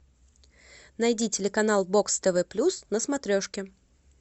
найди телеканал бокс тв плюс на смотрешке